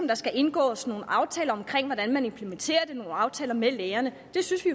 der skal indgås nogle aftaler om hvordan man implementerer det nogle aftaler med lægerne det synes vi